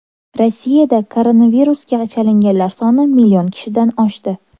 Rossiyada koronavirusga chalinganlar soni million kishidan oshdi.